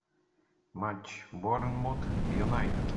матч борнмут юнайтед